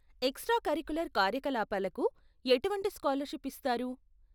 Extra curricular కార్యకలాపాలకు ఎటువంటి scholarship ఇస్తారు?